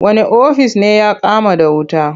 Wane ofis ne ya kama da wuta?